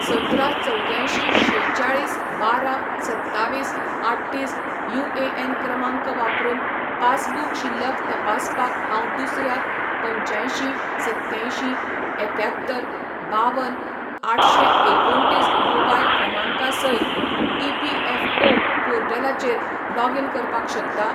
सतरा चवद्यांयशीं शेचाळीस बारा सत्तावीस आठ्ठीस युएएन क्रमांक वापरून पासबुक शिल्लक तपासपाक हांव दुसऱ्या पंच्यांयशीं संत्त्यांयशीं एक्यात्तर बावन आठशें एकुणतीस मोबायल क्रमांका सयत ईपीएफओ पोर्टलाचेर लॉगीन करपाक शकता ?